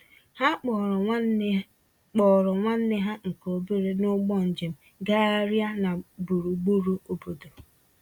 Ha kpọọrọ nwanne kpọọrọ nwanne ha nke obere n'ụgbọ njem gagharịa na burugburu obodo.